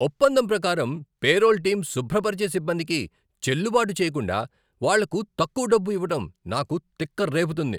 ఒప్పందం ప్రకారం payroll team శుభ్రపరిచే సిబ్బందికి చెల్లుబాటు చేయకుండా వాళ్లకు తక్కువ డబ్బు ఇవ్వడం నాకు తిక్క రేపుతుంది.